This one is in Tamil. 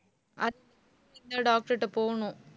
அத்~ doctor கிட்ட போகணும்